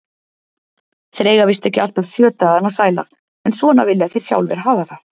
Þeir eiga víst ekki alltaf sjö dagana sæla, en svona vilja þeir sjálfir hafa það.